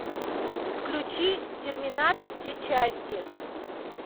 включи терминатор все части